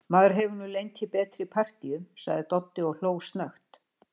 Maður hefur nú lent í betri partíum, sagði Doddi og hló snöggt.